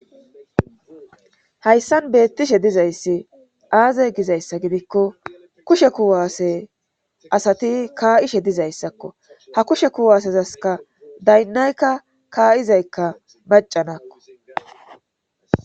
hayssan beettishe dizayssi aaze gizayssa gidikko kushe kuwaase asati kaa7ishe dizayssakko ha kushe kuwaasezaska daynnaykka kaa7izaykka macanakko